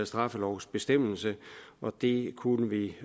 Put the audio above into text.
straffelovsbestemmelse og det kunne vi